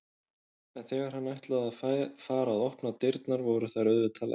En þegar hann ætlaði að fara að opna dyrnar voru þær auðvitað læstar.